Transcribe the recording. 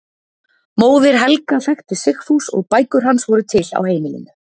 Móðir Helga þekkti Sigfús og bækur hans voru til á heimilinu.